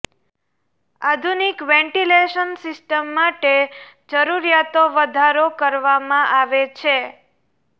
આધુનિક ventilation system માટે જરૂરીયાતો વધારો કરવામાં આવે છે